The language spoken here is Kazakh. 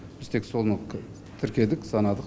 біз тек соны тіркедік санадық